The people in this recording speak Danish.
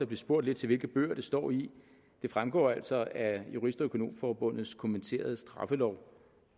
blev spurgt lidt til hvilke bøger det står i det fremgår altså af jurist og økonomforbundets kommenterede straffelov